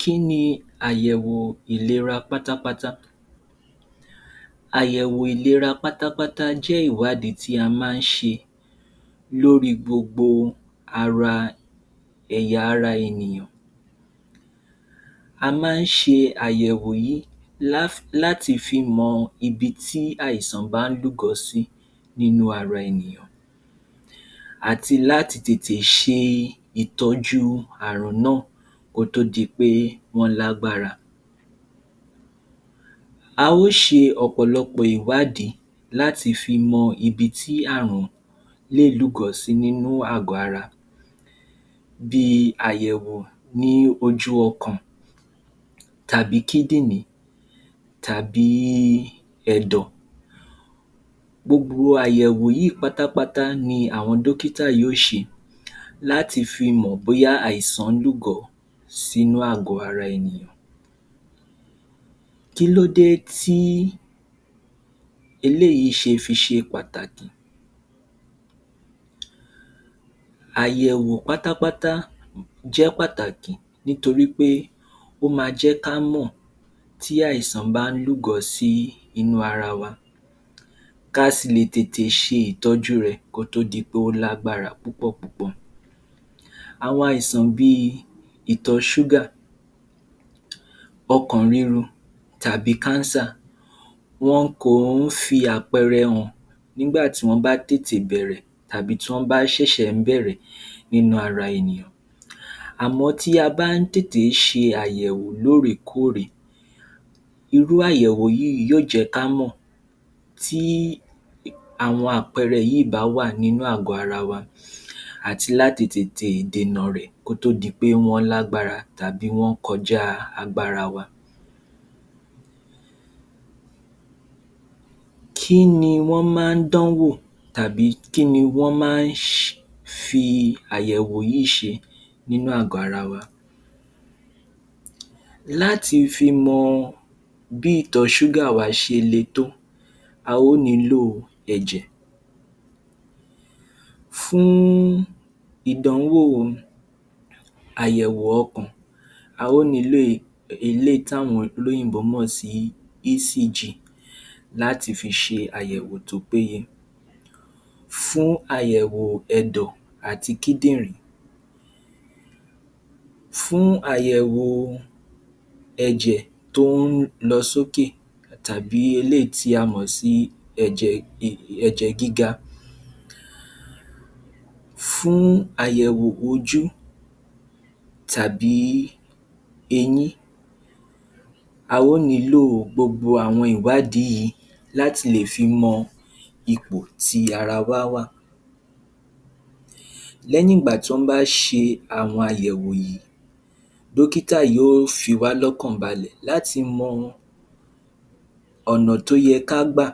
Kí ni àyẹ̀wò ìlera pátápátá? Àyẹ̀wò ìlera pátápátá jẹ́ ìwádìí tí a máa ń ṣe lórí gbogbo ara ẹ̀yà-ara ènìyàn. A máa ń ṣe àyẹ̀wò yìí láti fi mọ̀ ibi tí àìsàn bá lúgọ sí nínú ara ènìyàn àti láti tètè ṣe ìtọ́jú àrùn náà kó tó di pé wọ́n lágbára. A ó ṣe ọ̀pọ̀lọpọ̀ ìwádìí láti fi mọ gbogbo ibi tí àrùn lè lúgọ sí nínú àgọ̀-ara. Bí i àyẹ̀wò ní ojú-ọkàn tàbí kídìnì tàbí ẹ̀dọ̀. Gbogbo àyẹ̀wò yìí pátápátá ni àwọn dọ́kítà yóò ṣe láti fi mọ bóyá àìsàn lúgọ sínú àgọ-ara ènìyàn. Kílódé tí eléyìí ṣe fi ṣe pàtàkì? Àyẹ̀wò pátápátá jẹ́ pàtàkì nítorí pé ó ma jẹ́kámọ̀ tí àìsàn bá lúgọ sí inú ara wa. Ká a sì lè tètè ṣe ìtọ́jú rẹ̀ kó tó di pé ó lágbára púpọ̀ púpọ̀. Àwọn àìsàn bí i ìtọ̀-ṣúgà, ọkàn ríru, tàbí kánsà, wọn kò ń fi àpẹẹrẹ hàn nígbàtí wọ́n bá tètè bẹ̀rẹ̀ tàbí tí wọ́n bá ṣẹ̀ṣẹ̀ ń bẹ̀rẹ̀ nínú ara ènìyàn. Àmọ́ tí a bá ń tètè ṣe àyẹ̀wò lóòrékórè, irú àyẹ̀wò yìí yóò jẹ́ kámọ̀ tí àwọn àpẹẹrẹ yìí bá wà nínú àgọ ara wa àti láti tètè dènà rẹ̀ kó tó di pé wọ́n lágbára tàbí wọ́n kọjá agbára wa. Kí ni wọ́n máa ń dánwò tàbí kí ni wọ́n máa ń fi àyẹ̀wò yìí ṣe nínú àgọ ara wa. Láti fi mọ bí ìtọ-ṣúgà ṣele tó, a ó nílò ẹ̀jẹ̀. Fún ìdánwò àyẹ̀wò ọkàn, a ó nílò ilé táwọn olóyìnbó mọ̀ sí láti fi ṣe àyẹ̀wò tó péye. Fún àyẹ̀wò ẹ̀dọ̀ àti kídìnrín, fún àyẹ̀wò ẹ̀jẹ̀ tó ń lọ sókè, tàbí eléyìí tí a mọ̀ sí um ẹ̀jẹ̀ gíga, fún àyẹ̀wò ojú tàbí eyín, a ó nílò gbogbo àwọn ìwádìí yìí láti lè fi mọ ipò tí ara wá wà. Lẹ́yìn ìgbà tí wọ́n bá ṣe àwọn àyẹ̀wò yìí, dọ́kítà yóò fi wá lọ́kàn balẹ̀ láti mọ ọ̀nà tó yẹ ká gbà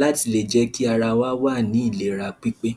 láti lè jẹ́ kí ara wá wà ní ìlera pípé.